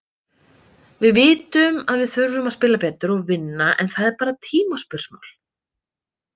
Við vitum að við þurfum að spila betur og vinna, en það er bara tímaspursmál.